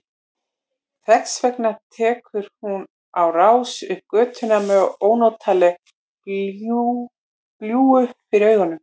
Þess vegna tekur hún á rás upp götuna með ónotalega glýju fyrir augunum.